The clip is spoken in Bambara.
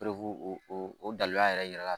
o o danyaa yɛrɛ yira la